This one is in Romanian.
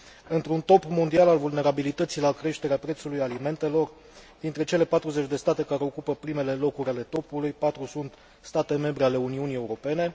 Într un top mondial al vulnerabilității la creșterea prețului alimentelor, dintre cele 40 de state care ocupă primele locuri ale topului, 4 sunt state membre ale Uniunii Europene.